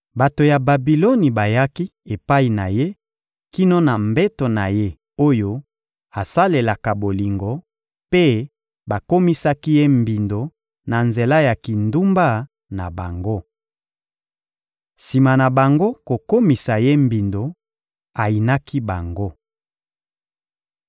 Bato ya Babiloni bayaki epai na ye kino na mbeto na ye oyo asalelaka bolingo mpe bakomisaki ye mbindo na nzela ya kindumba na bango. Sima na bango kokomisa ye mbindo, ayinaki bango.